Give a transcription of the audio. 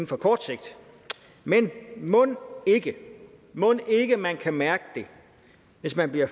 på kort sigt men mon ikke man kan mærke det hvis man bliver